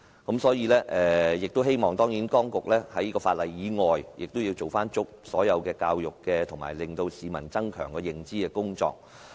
我希望當局在修訂法例以外，做足所有教育及增強市民認知的工作。